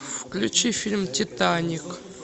включи фильм титаник